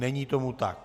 Není tomu tak.